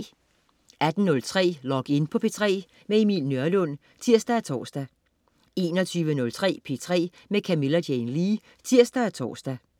18.03 Log In på P3. Emil Nørlund (tirs og tors) 21.03 P3 med Camilla Jane Lea (tirs og tors)